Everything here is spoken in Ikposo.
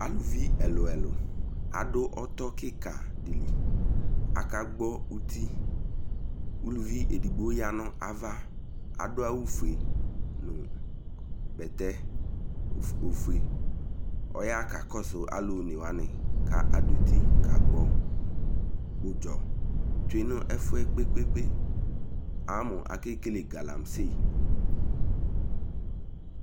Avuvi ɛluɛlu ado ɔto keka de li Aka gbɔ uti Uluvi edigbo ya no ava ado awufue no bɛtɛ ofue Ɔya ka kɔso aluone wa ne ka do uti ka gbɔ udzɔ tsie no ɛfuɛ gbegbe, Amo akekele galamse